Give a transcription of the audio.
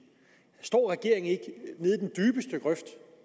står regeringen ikke